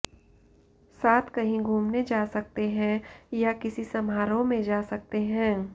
साथ कहीं घूमने जा सकते हैं या किसी समारोह में जा सकते हैं